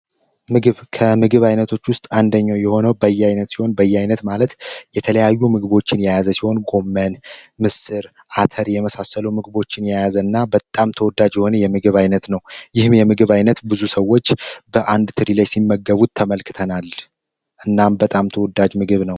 ምግብ ከምግብ አይነቶች ውስጥ አንደኛው የሆነው በያይነቱን በየአይነት ማለት የተለያዩ ምግቦችን የያዘችውን ኮሜንስትር አቶ የመሳሰሉ ምግቦችን የያዘና በጣም ተወዳጅ የምግብ አይነት ነው ይህ የምግብ አይነት ብዙ ሰዎች በአንድ ላይ ሲመገቡት ተመልክተናል እናንተም ተወዳጅ ምግብ ነው